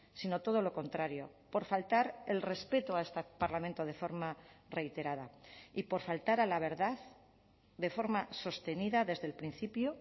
sino todo lo contrario por faltar el respeto a este parlamento de forma reiterada y por faltar a la verdad de forma sostenida desde el principio